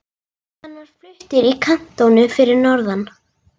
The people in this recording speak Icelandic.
Hann var fluttur í kantónu fyrir norðan.